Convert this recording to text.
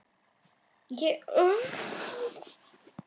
Þarna var hún, þessi fíngerða, stóreygða stelpa í bleikum blúndukjól.